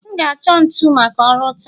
M ga-achọ ntu maka ọrụ taa